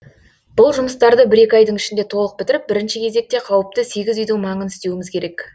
бұл жұмыстарды бір екі айдың ішінде толық бітіріп бірінші кезекте қауіпті сегіз үйдің маңын істеуіміз керек